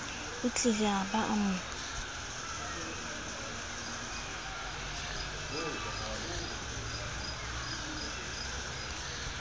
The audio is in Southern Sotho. otlile a ba a mo